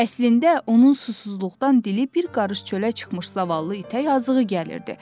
Əslində onun susuzluqdan dili bir qarış çıxmış zavallı itə yazığı gəlirdi.